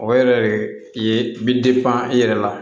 O yɛrɛ de ye bi i yɛrɛ la